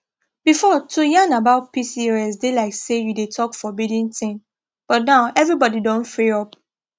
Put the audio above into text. before to yarn about pcos dey like say you dey talk forbidden thing but now everybody don free up